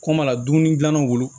Kum'a la dumuni dilannaw bolo